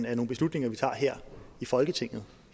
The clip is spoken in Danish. er nogle beslutninger vi tager her i folketinget